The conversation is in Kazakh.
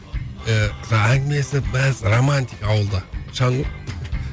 ііі әңгімелесіп мәз романтика ауылда шаң ғой